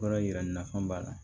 Baara yira nafa b'a la